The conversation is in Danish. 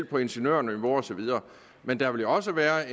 på ingeniørniveau osv men der vil jo også være